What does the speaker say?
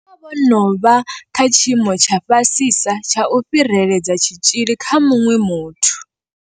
Vha vha vho no vha kha tshiimo tsha fhasisa tsha u fhiredzela tshitzhili kha muṅwe muthu.